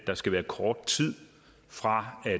der skal være kort tid fra